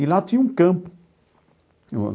E lá tinha um campo.